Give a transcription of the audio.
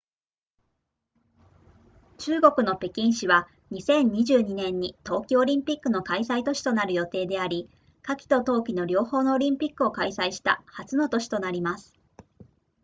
中国の北京市は2022年に冬季オリンピックの開催都市となる予定であり夏季と冬季の両方のオリンピックを開催した初の都市となります